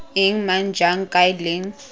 eng mang jang kae leng